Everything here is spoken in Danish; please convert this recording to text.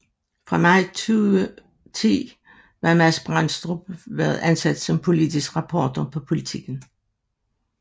Fra maj 2010 var Mads Brandstrup været ansat som politisk reporter på Politiken